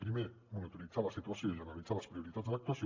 primer monitoritzar la situació i analitzar les prioritats de l’actuació